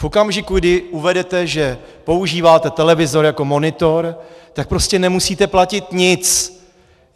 V okamžiku, kdy uvedete, že používáte televizor jako monitor, tak prostě nemusíte platit nic.